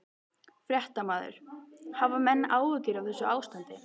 Fréttamaður: Hafa menn áhyggjur af þessu ástandi?